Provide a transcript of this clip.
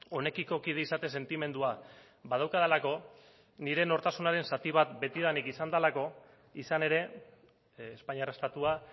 honekiko kide izate sentimendua badaukadalako nire nortasunaren zati bat betidanik izan delako izan ere espainiar estatua